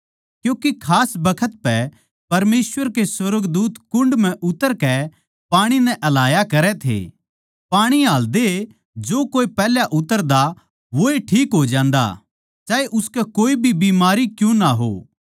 क्यूँके खास बखत पै परमेसवर के सुर्गदूत कुण्ड म्ह उतरकै पाणी नै हलाया करै थे पाणी हाल्दए जो कोए पैहल्या उतरदा वोए ठीक हो जान्दा चाहे उसकै कोए बीमारी क्यूँ ना हो